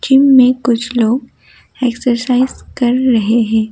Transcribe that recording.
Gym में कुछ लोग एक्सरसाइ कर रहे है।